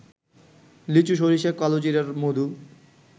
লিচু, সরিষা, কালোজিরার মধু